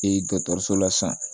dɔkɔtɔrɔso la san